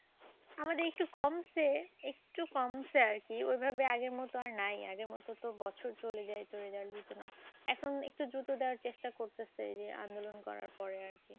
আমাদের একটু কমসে। একটু কমসে আর কি। ঐভাবে আগের মত আর নাই। আগের মত তো বছর চলে যাইত result দিতে। এখন একটু দ্রুত দেওয়ার চেষ্টা করতেসে আন্দোলন করার পরে আর কি।